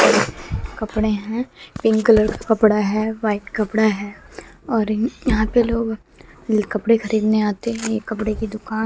कपड़े हैं pink colour का कपड़ा है व्हाइट कपड़ा है और यहां पे लोग ल कपड़े खरीदने आते हैं ये कपड़े की दुकान --